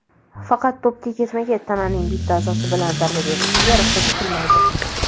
Faqat to‘pga ketma-ket tananing bitta a’zosi bilan zarba berilishiga ruxsat etilmaydi.